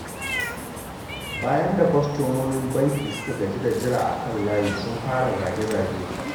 Bayan da kwastomomin bankin suka gaji da jira a kan layi, sun fara zage-zage.